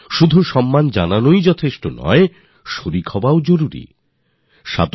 শুধু সম্মানভাবই যথেষ্ট নয় সক্রিয় অংশগ্রহণও প্রয়োজন